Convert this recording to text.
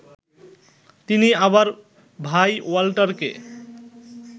তিনি আবার ভাই ওয়াল্টারকে